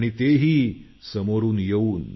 तेही समोरून येऊन